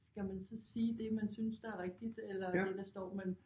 Skal man så sige det man synes der er rigtigt eller hvad der står men